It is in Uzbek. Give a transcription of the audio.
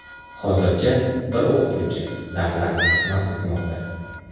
Hozircha bir o‘qituvchi darslarni qisman o‘tmoqda.